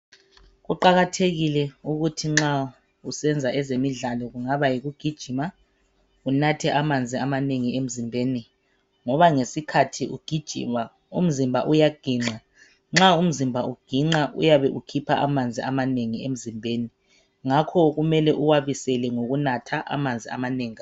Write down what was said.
Kuqakathekile ukuthi nxa usenza ngezemidlalo, kungaba yikugijima unathe amanzi amanengi emzimbeni. Ngoba ngesikhathi ugijima umzimba uyaginxa, nxa umzimba uginxa uyakhipha amanzi amanengi emzimbeni. Ngakho kumele uwabisele ngukunatha amanzi amanengi kakhulu.